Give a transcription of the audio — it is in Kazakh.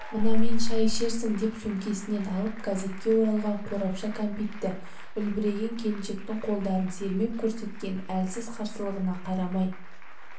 мынамен шай ішерсің деп сөмкесінен алып газетке оралған қорапша кәмпитті үлбіреген келіншектің қолдарын сермеп көрсеткен әлсіз қарсылығына қарамай